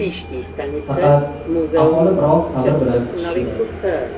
Faqat aholi biroz sabr bilan kutishi kerak.